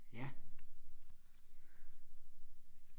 ja